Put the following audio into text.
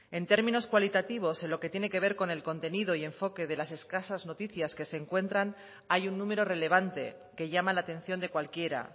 en términos cualitativos en lo que tiene ver con el contenido y enfoque de las escasa noticias que se encuentran hay un número relevante que llama la atención de cualquiera